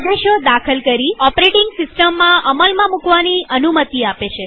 આદેશો દાખલ કરીઓપરેટીંગ સિસ્ટમમાં અમલમાં મુકવાની અનુમતિ તે આપે છે